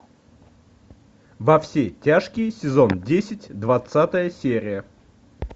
во все тяжкие сезон десять двадцатая серия